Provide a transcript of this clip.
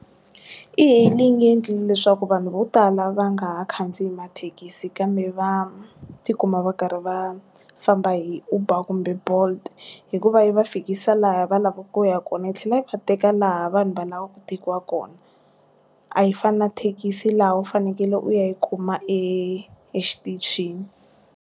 e-hailing yi endlile leswaku vanhu vo tala va nga ha khandziya mathekisi kambe va tikuma va karhi va famba hi uber kumbe bolt hikuva yi va fika fikisa laha va lavaku ku ya kona yi tlhela yi va teka laha vanhu va lavaku ku tekiwa kona, a yi fani na thekisi laha u fanekele u yi kuma exitichini.